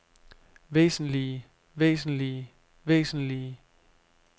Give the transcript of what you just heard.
væsentlige væsentlige væsentlige